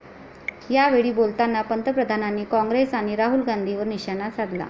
यावेळी बोलताना पंतप्रधानांनी काँग्रेस आणि राहुल गांधींवर निशाणा साधला.